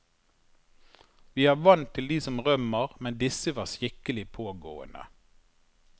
Vi er vant til de som rømmer, men disse var skikkelig pågående.